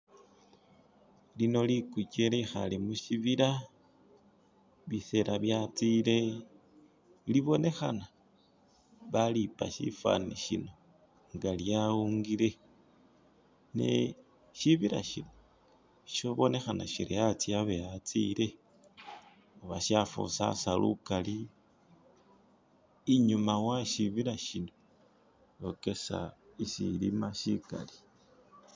lino likukye lyekhale mushibila bisela byatsile libonekhana balipa sifaani shino nga lyaungile ne shibila shino shibonekhana shiri atsye abe atsile khuba shafusasa lukali inyuma weshibila shino okesa shishilima shikali.